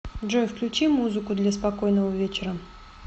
джой включи музыку для спокойного вечера